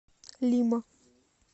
лима